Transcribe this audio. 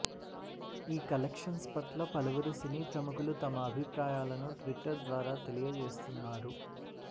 ఈ కలెక్షన్స్ పట్ల పలువురు సినీ ప్రముఖులు తమ అభిప్రాయాలను ట్విట్టర్ ద్వారా తెలియజేస్తున్నారు